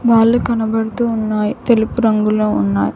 బాల్లు కనబడుతూ ఉన్నాయ్ తెలుపు రంగులో ఉన్నాయ్.